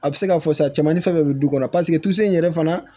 A bɛ se ka fɔ sa cɛmanin fɛn bɛɛ bɛ du kɔnɔ paseke tusu in yɛrɛ fana